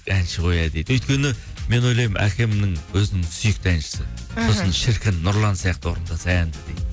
әнші ғой иә дейді өйткені мен ойлаймын әкемнің өзінің сүйікті әншісі сосын шіркін нұрлан сияқты орындаса әнді дейді